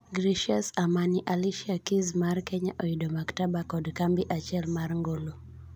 Gracious Amani:Alicia Keys' mar kenya oyudo mkataba kod kambi achiel mar ngolo.